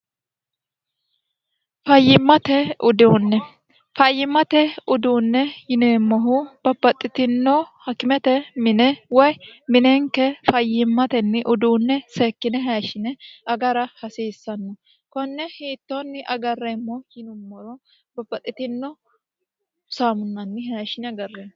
fayyimmate udiunne fayyimmate uduunne yineemmohu babaxxitino hakimete mine woy mineenke fayyiimmatenni uduunne seekkine haishshine agara hasiissanno konne hiittoonni agarreemmo yinummoro babbaxxitino saamunnanni hashshine agarreemmo